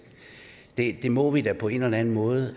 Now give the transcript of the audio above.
det må vi da på en eller anden måde